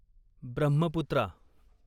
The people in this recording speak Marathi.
ब्रह्मपुत्रा